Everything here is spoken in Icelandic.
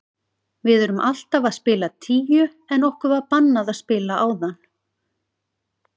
Við erum alltaf að spila tíu en okkur var bannað að spila áðan.